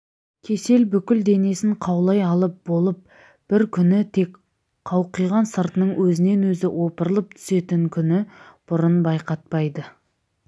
кесел бүкіл денесін қаулай алып болып бір күні тек қауқиған сыртының өзінен өзі опырылып түсетінін күні бұрын байқатпайды